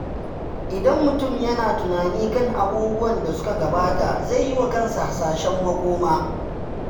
Idan mutum yana yin tunani kan abubuwan da suka gabata, zai yiwa kansa hasashen makoma.